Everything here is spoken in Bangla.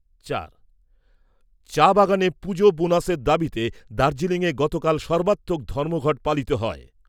চার। চা বাগানে পুজো বোনাসের দাবীতে দার্জিলিংয়ে গতকাল সর্বাত্মক ধর্মঘট পালিত হয়।